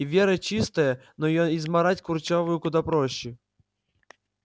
и вера чистая но её измарать курчавому куда проще